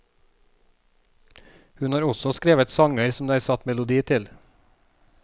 Hun har også skrevet sanger som det er satt melodi til.